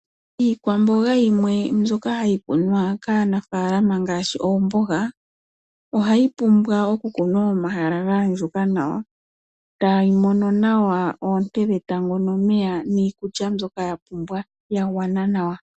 Iikwamboga yimwe mbyoka hayi kunwa kaanafaalama ngaashi oomboga, ohayi pumbwa okukunwa momahala gaandjuka nawa, tayi mono nawa oonte dhetango nomeya, niikulya mbyoka yapumbwa, yagwana nawa.